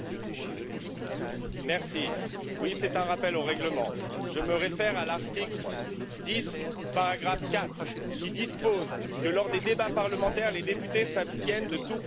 Madame la Présidente, oui, c'est un rappel au règlement. Je me réfère à l'article 10, paragraphe 4, qui dispose que lors des débats parlementaires, les députés s'abstiennent de tout propos offensant.